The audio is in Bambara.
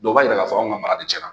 Dɔw b'a yira k'a fɔ aw ka mara de tiɲɛna